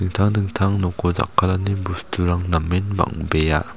dingtang dingtang noko jakkalani bosturang namen bang·bea.